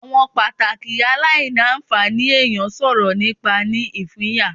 Awọn pataki alailanfani eniyan sọrọ nipa ni ipinya